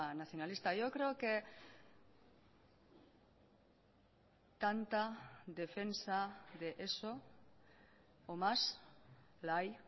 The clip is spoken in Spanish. nacionalista yo creo que tanta defensa de eso o más la hay